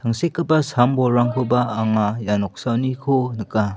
Tangsekgipa sam bolrangkoba anga ia noksaoniko nika.